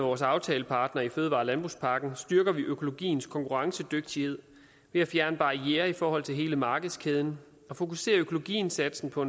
vores aftalepartnere i fødevare og landbrugspakken styrker vi økologiens konkurrencedygtighed ved at fjerne barrierer i forhold til hele markedskæden og fokusere økologiindsatsen på